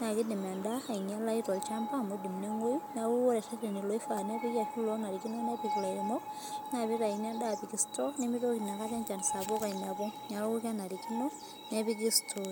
nakidim endaa ainyalayu tolchamba, amu idim neng'oyu, neeku ore rreteni loifaa ashu lonarikino nepik ilairemok, na pitayuni endaa apik store, nimitoki nakata enchan sapuk ainepu. Neeku kenarikino, nepiki stooni.